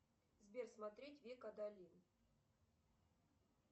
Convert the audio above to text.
сбер смотреть век адалин